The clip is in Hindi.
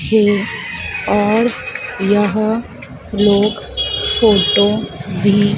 है और यहां लोग फोटो भी--